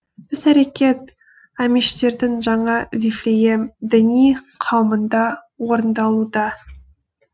іс әрекет амиштердің жаңа вифлеем діни қауымында орындалуда